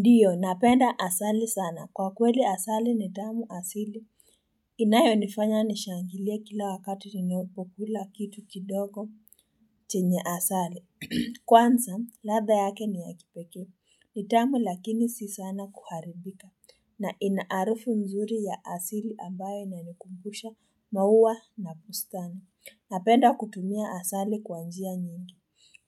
Ndiyo napenda asali sana kwa kweli asali ni tamu asili inayonifanya nishangilie kila wakati ninayo po kula kitu kidogo chenye asali kwanza ladha yake ni ya kipekee ni tamu lakini si sana kuharibika na ina harufu mzuri ya asili ambayo inanikumbusha maua na bustani napenda kutumia asali kwa njia nyingi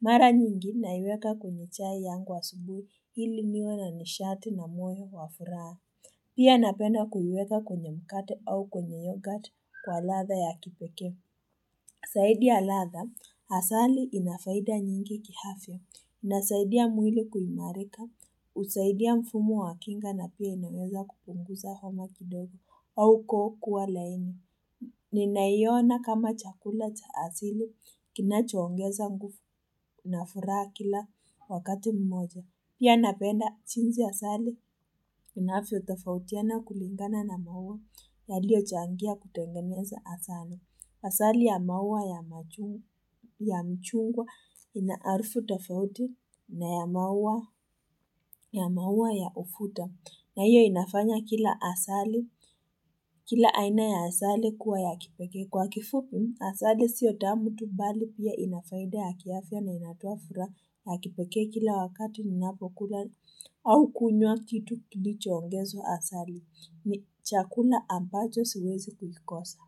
Mara nyingi naiweka kwenye chai yangu asubuhi ili niwe na nishati na moyo wa furaha. Pia napenda kuiweka kwenye mkate au kwenye yogurt kwa ladha ya kipeke. Zaidi ya latha, asali ina faida nyingi kiafya, inasaidia mwili kuimarika, husaidia mfumo wa kinga na pia inaweza kupunguza homa kidogo au koo kuwa laini. Ninaiona kama chakula cha asili kina choongeza nguvu na furaha kila wakati moja. Pia napenda jinsi asali inavyotafautiana kulingana na maua yaliyochangia kutengeneza asali. Asali ya maua ya machungwa ina harufu tofauti na ya maua ya ufuta. Na hiyo inafanya kila asali, kila aina ya asali kuwa ya kipekee kwa kifupi, asali sio tamu tu bali pia ina faida ya kiafya na inatoa furaha ya kipekee kila wakati ni napokula au kunywa kitu kilicho ongezwa asali ni chakula ambacho siwezi kulikosa.